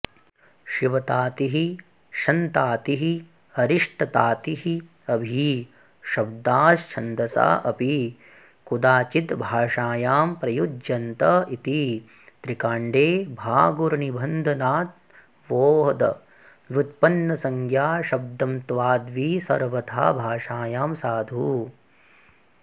शिवतातिः शन्तातिः अरिष्टतातिः अभी शब्दाश्छन्दसा अपि कुदाचिद्भाषायां प्रयुज्यन्त इति त्रिकाण्डे भागुरिनिबन्धनाद्वोदव्युत्पन्नसंज्ञाशब्दंत्वाद्वी सर्वथा भाषायां साधु